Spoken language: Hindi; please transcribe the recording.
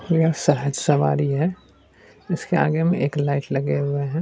यह एक सहज सवारी है इसके आगे में एक लाइट लगे हुए हैं।